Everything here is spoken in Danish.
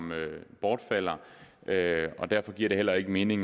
bortfalder og derfor giver det heller ikke mening